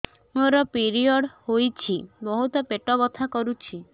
ମୋର ପିରିଅଡ଼ ହୋଇଛି ବହୁତ ପେଟ ବଥା କରୁଛି